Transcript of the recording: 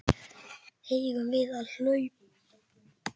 Eigum við að hlaupa þangað?